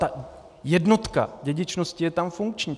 Ta jednotka dědičnosti je tam funkční.